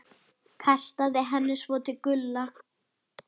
Kastaði henni svo til Gulla.